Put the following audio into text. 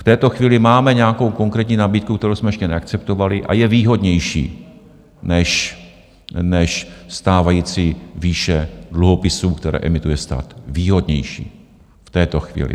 V této chvíli máme nějakou konkrétní nabídku, kterou jsme ještě neakceptovali, a je výhodnější než stávající výše dluhopisů, které emituje stát, výhodnější v této chvíli.